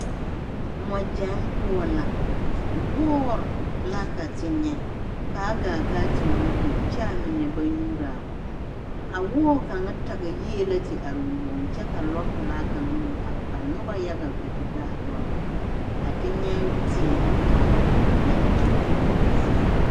Mɔɡyaɡe poɔ la wɔɔre la ka te nyɛ ka a ɡaa ka a te nyu kõɔ kyɛ a mine ba nyuuraa a kõɔ a wɔɔ kaŋa taɡe yie la te are o yoɡe kyɛ lɔpelaa kaŋ meŋ are ka noba yaɡa a kpɛ te be a lɔre poɔ ka te nyɛ teere ka a be kõɔ zie.